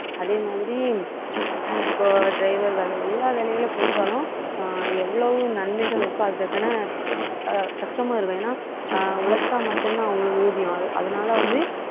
அதே மாதிரி அஹ் இப்போ driver வேலை எல்லா வேலைகளும் பொறுத்தாலும், அஹ் எவ்வளவு நன்மைகள் இருக்கோ அதற்கான ஆஹ் கஷ்டமும் இருக்கும். ஏன்னா அஹ் உழைச்சா மட்டும்தான் அவங்களுக்கு ஊதியம்.